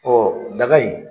Ɔ daga in